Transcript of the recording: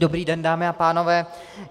Dobrý den, dámy a pánové.